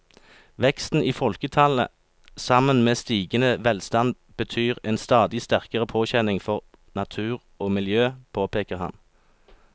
Veksten i folketallet sammen med stigende velstand betyr en stadig sterkere påkjenning for natur og miljø, påpeker han.